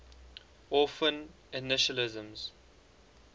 orphan initialisms